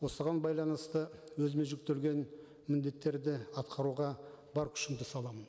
осыған байланысты өзіме жүктелген міндеттерді атқаруға бар күшімді саламын